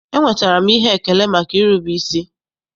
Enwetara m ihe elele maka irube isi.